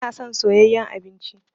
Ba na son soyayen abinci